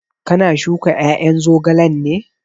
Ka na shuka ƴaƴan zogalen ne?